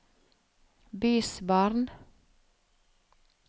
bysbarn